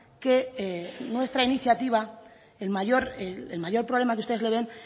que nuestra iniciativa el mayor problema que ustedes le ven